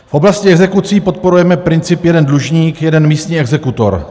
V oblasti exekucí podporujeme princip jeden dlužník - jeden místní exekutor.